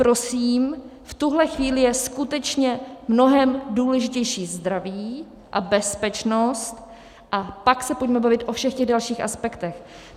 Prosím, v tuhle chvíli je skutečně mnohem důležitější zdraví a bezpečnost, a pak se pojďme bavit o všech těch dalších aspektech.